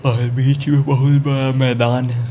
और बीच में बहोत बड़ा मैदान है।